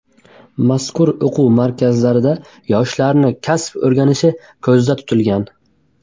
Mazkur o‘quv maskanlarida yoshlarning kasb o‘rganishi ko‘zda tutilgan.